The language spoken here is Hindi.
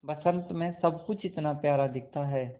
बसंत मे सब कुछ इतना प्यारा दिखता है